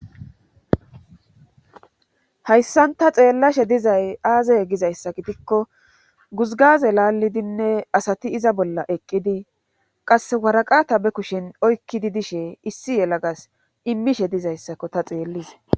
Hayssan ta xeellashe dizay aazay gizayssa gidikko guzgaze laallidinne asati iza bolla eqqidi qass waraqata be kushin oykkidi dishe issi yelagas immishe dizayssakko ta xeellise.